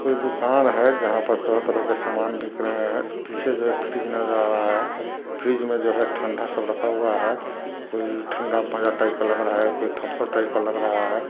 कोई दुकान है जहां पर तरह-तरह के सामान बिक रहे है पीछे जो फ्रीज़ नजर आ रहा है फ्रीज़ में ठंडा सब रखा हुआ है कोई ठंडा माजा टाइप का लग रहा है कोई थम्प्स-अप टाइप का लग रहा है।